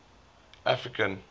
african